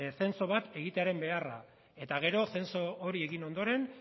zenso bat egitearen beharra eta gero zenso hori egin ondoren